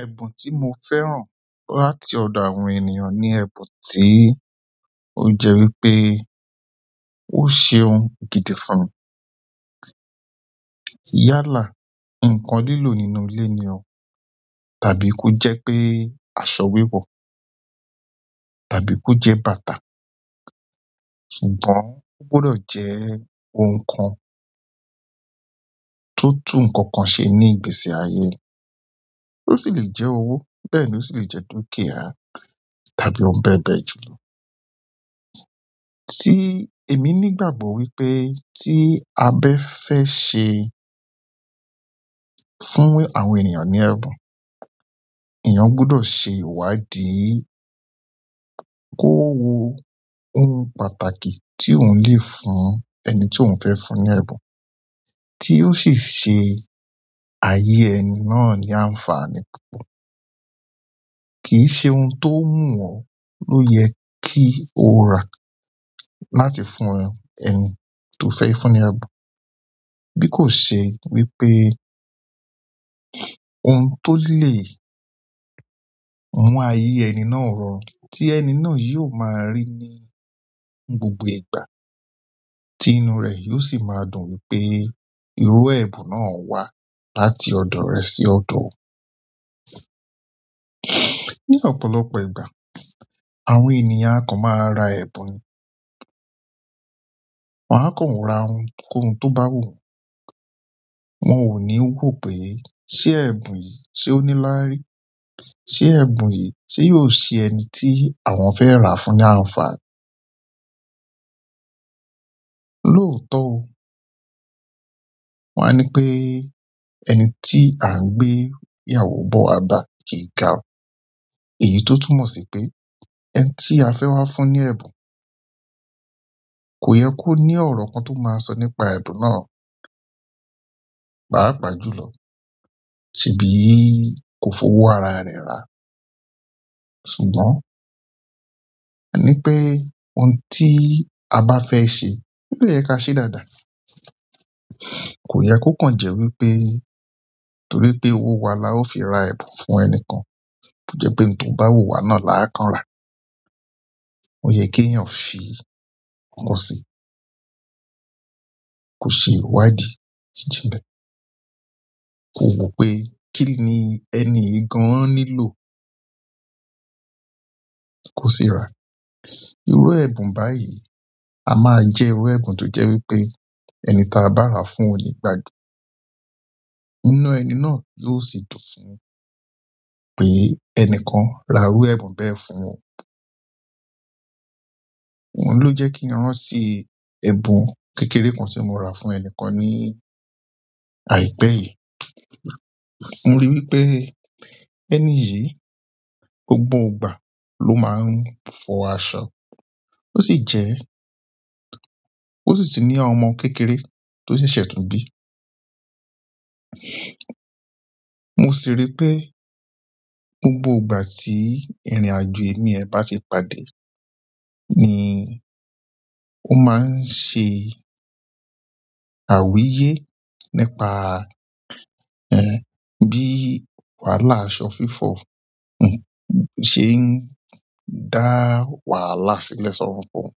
Ẹbun ti mo fẹ́ràn láti ọdọ àwọn ènìyàn ni ẹbun ti o jẹ wípé o ṣeun gidi fún yálà ǹkan lílò nínú ilé ni o, tàbí kó jẹ́ pé aṣọ wiwọ, tàbí kó jẹ́ bàtà. Ṣùgbọ́n o gbọdọ jẹ oun kan to tun nkankan ṣe ni igbese aye mi. O si le jẹ owo bẹ́ẹ̀ ni o si le jẹ dukiaa tàbí oun bẹbẹ lọ. Tí èmi ní ìgbàgbọ́ wípé tí a bá fẹ́ ṣe fún àwọn ènìyàn ní ẹ̀bùn, èèyàn gbọdọ̀ ṣe ìwádìí kó wo ohun pàtàkì tí òun lè fún ẹni tí òun fẹ́ fún ní ẹ̀bùn, tí ó sì ṣe ayé ẹni náà ní àǹfààní púpọ̀. Kì í ṣe ohun tó wú ọ ló yẹ kí o ra láti fún ẹni tó fẹ́ fún ní ẹ̀bùn. Bí kò ṣe wípé oun to le mu aye ẹni náà rọrùn ti ẹni náà yóò ma ri ni, ni gbogbo ìgbà. Ti inú re yóò si maa dùn wípé iru ẹbun náà wa láti ọdọ rẹ si ọdọ oun. Ni ọ̀pọ̀lọpọ̀ ìgbà, àwọn ènìyàn a kan maa ra ẹbun nii wọ́n á kàn ra ohunkóhun tó bá wù wọ́n, wọ́n ò ní ro pé ṣé ẹ̀bùn yìí ṣe ó ní láárí, ṣé ẹ̀bùn yìí ṣe yóò ṣe ẹni tí àwọn fẹ́ rà fún ní àǹfààní. Lóòótọ́ o. Wọ́n á ní pé ẹni tí à ń gbé ìyàwó bọ́ wa bà kìí garun, èyí tó túmọ̀ sí pé ẹni tí a fẹ́ wá fún ní ẹ̀bùn kò yẹ kó ní ọ̀rọ̀ kan tó máa sọ nípa ẹ̀bùn náà, páà paà júlọ, ṣebi kò fowo ara rẹ̀ rà. Ṣùgbọ́n torí pe oun ti a ba fẹ ṣe, obdẹ yẹ kaa ṣe dáadáa. Kò yẹ kó kan jẹ́ wípé nítorí pé owó wa la ó fi ra ẹbun fún ẹnikan kó jẹ́ pé in tó bá wù wá náà láá kan rà. Ó yẹ kí èèyàn fi ìkòsí, kó ṣe ìwádìí jínlẹ. Kó wò pé kí ni ẹni yìí gaan nílò kó sì rá. Irú ẹ̀bùn báyìí a máa jẹ́ irú ẹ̀bùn tó jẹ́ wípé ẹni tí a bá rà fún nígbàgbe inú ẹni náà yóò sì dùn fún un pé ẹni kan ra irú ẹ̀bùn bẹ́ẹ̀ fún un. Oun lo jẹ kin rántí ẹbun kékeré kan ti mo ra fún ẹnikan nii aipẹ yìí. Mo ri pe ẹni yìí, gbogbo ìgbà lo maa n fọ aṣọ. O si jẹ ó sì tun ní àwọn ọmọ kékeré tó ṣẹ̀ṣẹ̀ tun bí. Mo sì ri pé gbogbo ìgbà tí ìrìnàjò emí rẹ̀ bá ti pàdé ni ó máa ń ṣe àwíyé nípa, ẹ́, bí wàhálà aṣọ fífọ̀, ẹ̀, ṣe ń dá wàhálà sílẹ̀ sọ́rọ́ fún un.